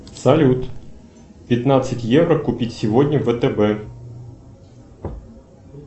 салют пятнадцать евро купить сегодня в втб